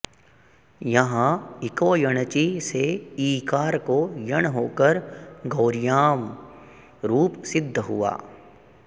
यहाँ इको यणचि से ईकार को यण् होकर गौर्याम् रूप सिद्ध हुआ